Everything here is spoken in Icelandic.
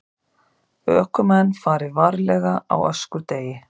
Ökumenn fari varlega á öskudegi